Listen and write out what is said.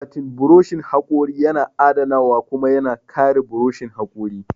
Akwatin buroshin haƙori yana adanawa kuma yana kare buroshin haƙori.